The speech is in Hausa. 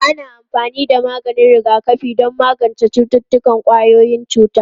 Ana amfani da maganin rigakafi don magance cututtukan ƙwayoyin cuta.